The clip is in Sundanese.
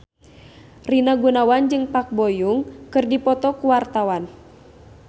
Rina Gunawan jeung Park Bo Yung keur dipoto ku wartawan